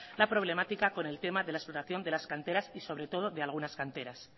la problemática con el tema de la explotación de las canteras y sobre todo de algunas canteras